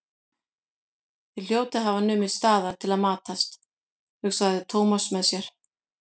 Þeir hljóta að hafa numið staðar til að matast, hugsaði Thomas með sér.